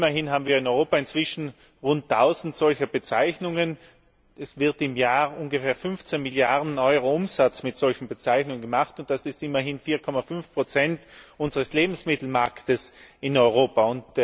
Immerhin haben wir in Europa inzwischen rund 1000 solcher Bezeichungen, es wird im Jahr ungefähr 15 Milliarden Euro Umsatz mit solchen Bezeichnungen gemacht, und das sind immerhin 4,5 unseres Lebensmittelmarktes in Europa.